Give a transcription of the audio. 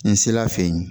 N sela fe yen